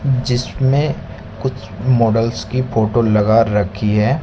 जिसमें कुछ मॉडल्स की फोटो लगा रखी है।